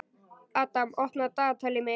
Adam, opnaðu dagatalið mitt.